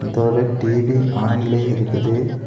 இது ஒரு டி_வி ஆன்லையெ இருக்குது.